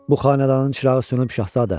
Bu xanədanın çırağı sönüb, Şahzadə.